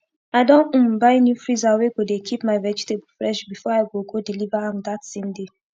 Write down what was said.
i don um buy new freezer wey go dey keep my vegetable fresh before i go go deliver am dat same day